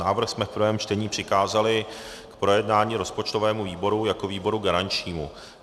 Návrh jsme v prvém čtení přikázali k projednání rozpočtovému výboru jako výboru garančnímu.